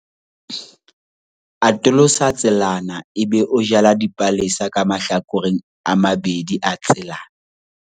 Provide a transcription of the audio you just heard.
atolosa tselana ebe o jala dipalesa ka mahlakoreng a mabedi a tselana